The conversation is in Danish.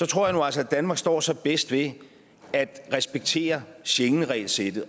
tror jeg nu altså at danmark står sig bedst ved at respektere schengenregelsættet